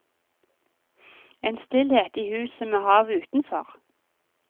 En stillhet i huset med havet utenfor.